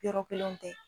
Yɔrɔ kelenw tɛ